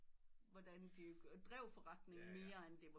Hvordan de drev forretningen mere end det var